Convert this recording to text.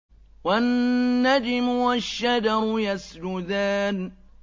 وَالنَّجْمُ وَالشَّجَرُ يَسْجُدَانِ